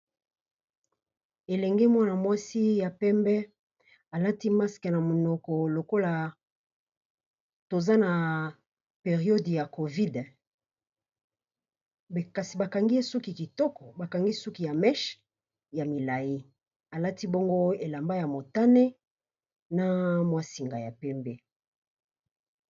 Elenge mwana mwasi ya pembe alati masque na monoko lokola toza na periode ya COVID, kasi ba kangi ye suki kitoko ba kangi ye suki ya meche ya milayi alati bongo elamba ya motane, na mwa singa ya pembe.